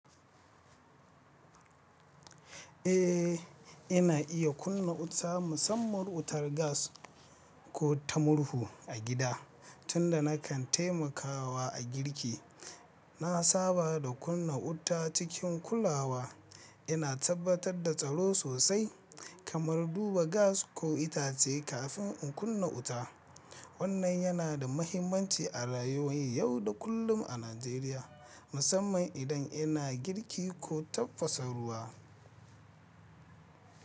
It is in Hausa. Eh, ina iya kunna wuta musamman wutar gas ko ta murhu a gida tunda nakan taimakawa a girki. Na saba da kunna wuta cikin kulawa. Ina tabbatar da tsaro sosai kamar duba gas ko itace kafin in kunna wuta. Wannan yana da muhimmanci a rayuwar yau da kullum a Najeriya, musamman idan ina girki ko tafasa ruwa.